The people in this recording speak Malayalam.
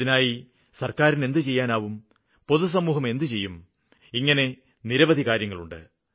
ഇതിനായി സര്ക്കാരിന് എന്തു ചെയ്യാനാവും പൊതു സമൂഹം എന്തു ചെയ്യും ഇങ്ങനെ നിരവധി കാര്യങ്ങളുണ്ട്